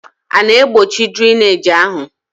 A na-egbochi drainage ahụ?